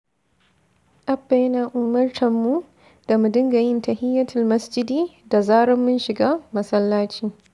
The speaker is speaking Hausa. Abba yana umartar mu da mu dinga yin tahiyatul masjidi da zarar mun shiga masallaci.